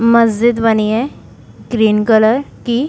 मस्जिद बनी है ग्रीन कलर की।